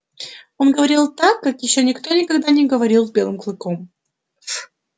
он говорил так как ещё никто никогда не говорил с белым клыком